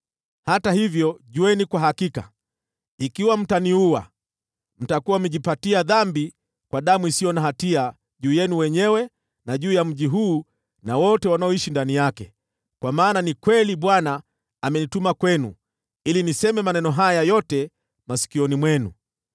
Hata hivyo, jueni kwa hakika, ikiwa mtaniua, mtakuwa mmejipatia dhambi kwa damu isiyo na hatia juu yenu wenyewe, na juu ya mji huu na wote wanaoishi ndani yake, kwa maana ni kweli Bwana amenituma kwenu ili niseme maneno haya yote masikioni mwenu.”